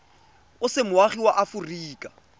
o se moagi wa aforika